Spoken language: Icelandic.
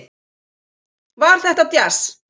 Var þetta djass?